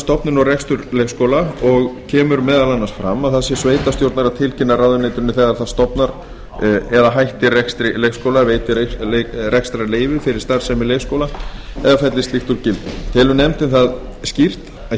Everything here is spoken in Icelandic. stofnun og rekstur leikskóla og kemur meðal annars fram að það sé sveitarstjórnar að tilkynna ráðuneytinu þegar það stofnar eða hættir rekstri leikskóla veitir rekstrarleyfi fyrir starfsemi leikskóla eða fellir slíkt úr gildi telur nefndin það skýrt að